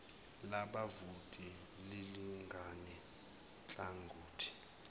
labavoti lilingane nhlangothi